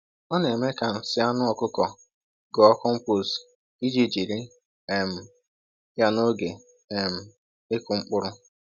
Ọ na-eme ka nsị anụ ọkụkọ ghọọ compost iji jiri um ya n’oge um ịkụ mkpụrụ.